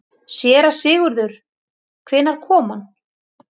SÉRA SIGURÐUR: Hvenær kom hann?